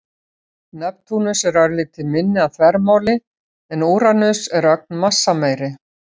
Neptúnus er örlítið minni að þvermáli en Úranus en ögn massameiri.